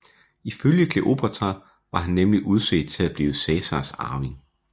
Ifølge Kleopatra var han nemlig udset til at blive Cæsars arving